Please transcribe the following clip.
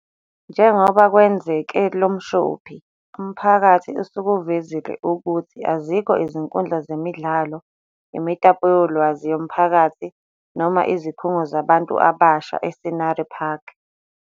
Njengoba kwenzeke lo mshophi, umphakathi usukuvezile ukuthi azikho izinkundla zemidlalo, imitapo yolwazi yomphakathi noma izikhungo zabantu abasha e-Scenery Park.